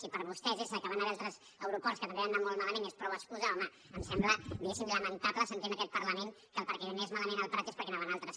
si per vostès és que hi van haver altres aeroports que també van anar molt malament ja és prou excusa home em sembla diguéssim lamentable sentir en aquest parlament que el fet que anés malament el prat és perquè hi anaven altres